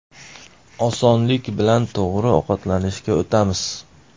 Osonlik bilan to‘g‘ri ovqatlanishga o‘tamiz.